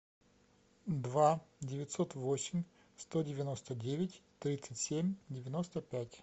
два девятьсот восемь сто девяносто девять тридцать семь девяносто пять